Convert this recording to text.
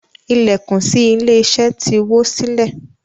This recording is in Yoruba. Ilẹkùn sí ilé iṣẹ ti wo silẹ.